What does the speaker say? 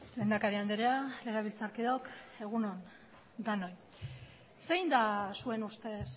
lehendakari andrea legebiltzarkideok egun on denoi zein da zuen ustez